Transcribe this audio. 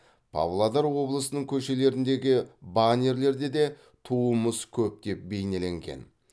павлодар облысының көшелеріндегі баннерлерде де туымыз көптеп бейнеленген